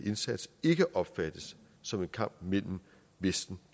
indsats ikke opfattes som en kamp mellem vesten